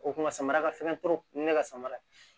O kun ka samara ka fɛn turu ni ne ka samara ye